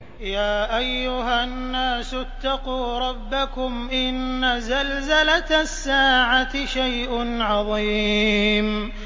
يَا أَيُّهَا النَّاسُ اتَّقُوا رَبَّكُمْ ۚ إِنَّ زَلْزَلَةَ السَّاعَةِ شَيْءٌ عَظِيمٌ